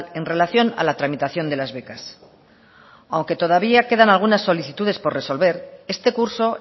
en relación a la tramitación de las becas aunque todavía quedan algunas solicitudes por resolver este curso